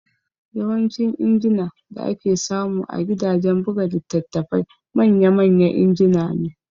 Yawancin injina da ake samu a gidajen buga litattafai manya manya injina ne